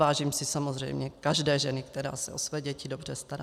Vážím si samozřejmě každé ženy, která se o své děti dobře stará.